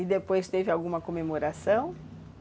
E depois teve alguma comemoração?